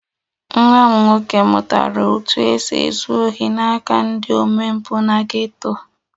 Nwa m nwoke mụtara otú e si ezu ohi n'aka ndị omempụ na geto